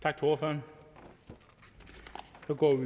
vi kunne gå